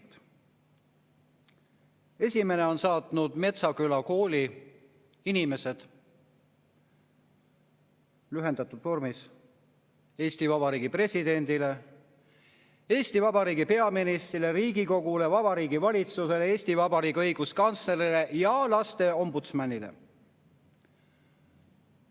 Esimese on saatnud Metsküla kooli inimesed lühendatud vormis Eesti Vabariigi presidendile, Eesti Vabariigi peaministrile, Riigikogule, Vabariigi Valitsusele, Eesti Vabariigi õiguskantslerile ja lasteombudsmanile.